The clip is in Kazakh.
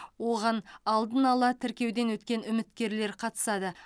оған алдын ала тіркеуден өткен үміткерлер қатысады